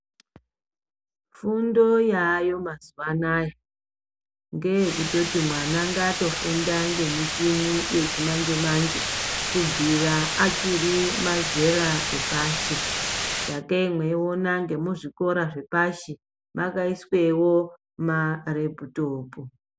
Fundo yaayo mazuwa anaa ngeyekutoti vana ngavangofunda nemichini yechimanje manje kubvira achiri mazera rechepashi sakei mweiona zvikora zvepashi zvakaiswewo mareputopu